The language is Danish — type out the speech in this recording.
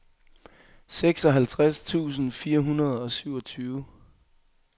seksoghalvtreds tusind fire hundrede og syvogtyve